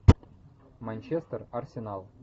манчестер арсенал